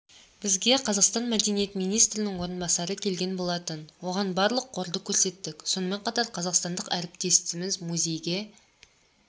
бізге қазақстан мәдениет министрінің орынбасары келген болатын оған барлық қорды көрсеттік сонымен қатар қазақстандық әріптестеріміз музейге